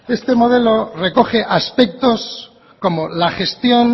este modelo recoge aspectos como la gestión